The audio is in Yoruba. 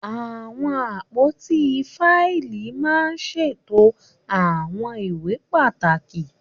Àwọn àpótí fáìlì máa ń ṣètò àwọn ìwé pàtàkì.